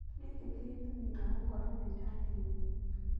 Gĩkĩ tĩ gĩtũmi gĩa gũkorwo na irathi nyingĩ.